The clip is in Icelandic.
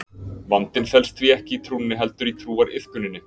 vandinn felst því ekki í trúnni heldur í trúariðkuninni